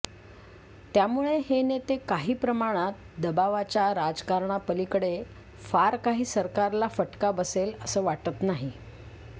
त्यामुळे हे नेते काही प्रमाणात दबावाच्या राजकारणापलिकडे फार काही सरकारला फटका बसेल असं वाटत नाही